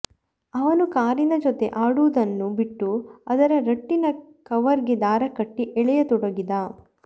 ಅವನು ಕಾರಿನ ಜೊತೆ ಆಡುವುದನ್ನು ಬಿಟ್ಟು ಅದರ ರಟ್ಟಿನ ಕವರ್ಗೆ ದಾರ ಕಟ್ಟಿ ಎಳೆಯತೊಡಗಿದ